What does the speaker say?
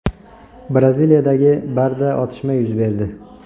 Braziliyadagi barda otishma yuz berdi.